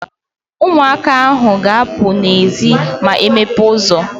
Ụmụaka ahụ ga-apụ n'ezi ma ị mepe ụzọ